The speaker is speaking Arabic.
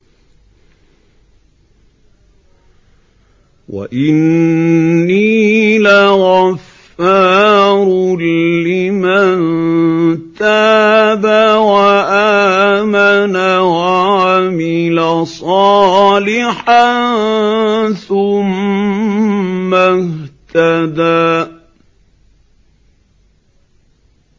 وَإِنِّي لَغَفَّارٌ لِّمَن تَابَ وَآمَنَ وَعَمِلَ صَالِحًا ثُمَّ اهْتَدَىٰ